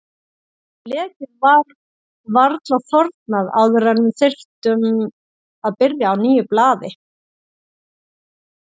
Blekið var varla þornað áður en við þurftum að byrja á nýju blaði.